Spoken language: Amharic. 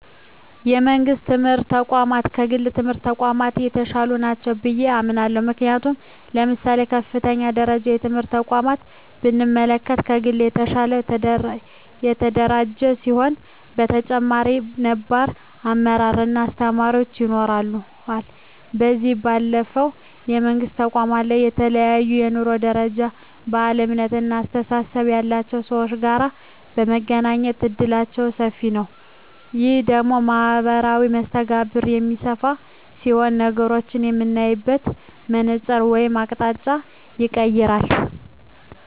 የመንግስት የትምህርት ተቋማት ከግል የትምህርት ተቋማት የተሻሉ ናቸው ብየ አምናለሁ። ምክንያቱም ለምሳሌ የከፍተኛ ደረጃ ትምህርት ተቋምን ብንመለከት ከግል የተሻለ የተደራጀ ሲሆን በተጨማሪም ነባር አመራር እና አስተማሪዎች ይኖረዋል። ከዚህ ባለፈም የመንግስት ተቋማት ላይ ከተለያየ የኑሮ ደረጃ፣ ባህል፣ እምነት እና አስተሳሰብ ያላቸው ሰወች ጋር የመገናኘት እድላችን ሰፊ ነዉ። ይህ ደግሞ ማህበራዊ መስተጋብርን የሚያሰፋ ሲሆን ነገሮችን የምናይበትን መነፀር ወይም አቅጣጫንም ይቀየራል።